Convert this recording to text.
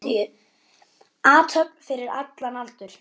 Athöfn fyrir allan aldur.